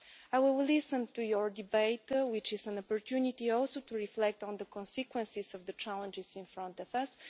I will listen to your debate, which is also an opportunity to reflect on the consequences of the challenges in front of us.